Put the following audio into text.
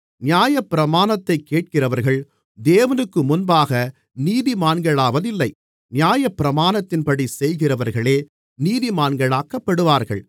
நியாயப்பிரமாணத்தைக் கேட்கிறவர்கள் தேவனுக்குமுன்பாக நீதிமான்களாவதில்லை நியாயப்பிரமாணத்தின்படி செய்கிறவர்களே நீதிமான்களாக்கப்படுவார்கள்